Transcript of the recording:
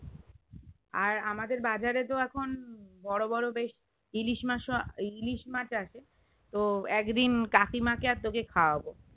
আর আমাদের বাজারে তো এখন বোরো বোরো বেশ ইলিশমাছ আছে তো একদিন কাকিমা কে আর তোকে খাওয়াবো